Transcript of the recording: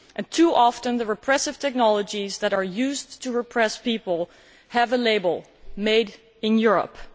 Too often, the repressive technologies that are used to repress people have a label made in Europe'.